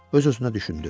Öz-özünə düşündü.